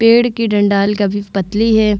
पेड़ की डण्डाल काफी पतली है।